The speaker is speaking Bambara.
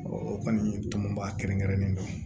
o kɔni tɔnba kɛrɛnkɛrɛnnen don